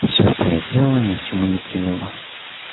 всё что я сделала ни к чему не привело